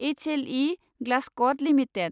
H L E Glasscoat limited